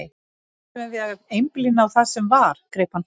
Þurfum við að einblína á það sem var, greip hann fram í.